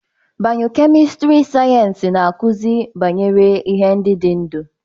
Bịyọlojịka sayensị na-akụzi banyere ihe ndị dị ndụ.